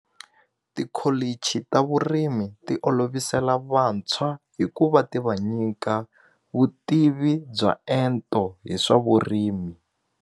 Tikholichi ta vurimi ti olovisela vantshwa hi ku va ti va nyika vutivi bya ento hi swa vurimi.